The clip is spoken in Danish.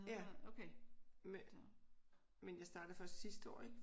Ja. Men jeg startede først sidste år ik?